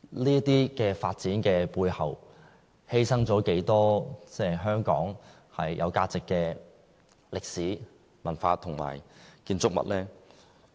這些發展的背後，犧牲了多少香港有價值的歷史、文化和建築物呢？